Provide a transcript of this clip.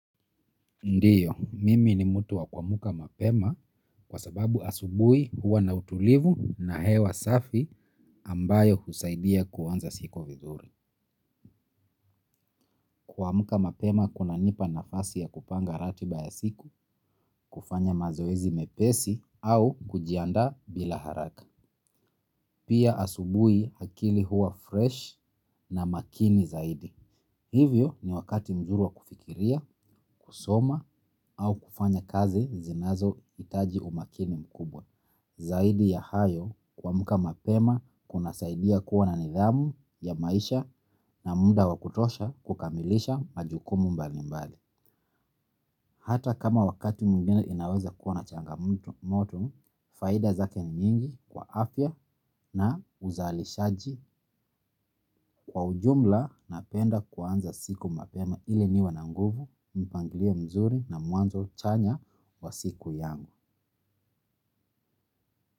Ndiyo, mimi ni mutu wa kua muka mapema kwa sababu asubui huwa na utulivu na hewa safi ambayo husaidia kuwanza siku vizuri. Kua muka mapema kuna nipa nafasi ya kupanga ratiba ya siku, kufanya mazoezi mepesi au kujianda bila haraka. Pia asubui hakili huwa fresh na makini zaidi. Hivyo ni wakati mzuri wa kufikiria, kusoma au kufanya kazi zinazo itaji umakini mkubwa. Zaidi ya hayo kua muka mapema kuna saidia kuwa na nidhamu ya maisha na muda wakutosha kukamilisha majukumu mbali mbali. Hata kama wakati mwingine inaweza kuwa na changa moto, faida zake nyingi kwa afya na uzali shaji kwa ujumla na penda kuanza siku mapema ili niwe na nguvu, mpangilio mzuri na mwanzo chanya wa siku yangu.